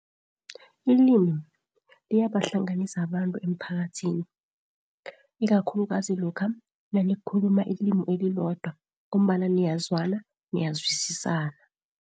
Ilimi liyabahlanganisa abantu emphakathini, ikakhulukazi lokha nanikhuluma ilimu elilodwa, ngombana niyazwana, niyazwisisana.